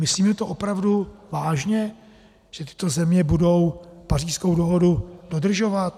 Myslíme to opravdu vážně, že tyto země budou Pařížskou dohodu dodržovat?